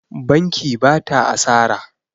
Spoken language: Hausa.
Banki ba ta asara.